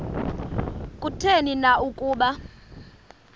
kutheni na ukuba